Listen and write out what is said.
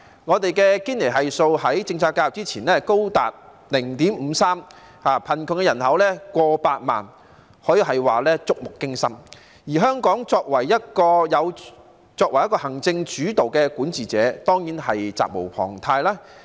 我們的堅尼系數在政策介入之前高達 0.53， 貧窮人口過百萬，這可說是觸目驚心，而香港政府作為行政主導的管治者，當然是責無旁貸。